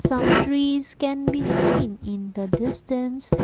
some trees can be seen in the distance.